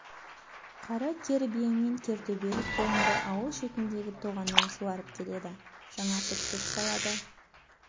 қара кер бие мен кер төбел құлынды ауыл шетіндегі тоғаннан суарып келеді жаңартып шөп салады